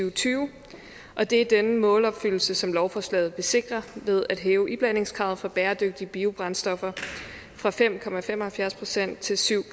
og tyve og det er denne målopfyldelse som lovforslaget vil sikre ved at hæve iblandingskravet for bæredygtige biobrændstoffer fra fem procent til syv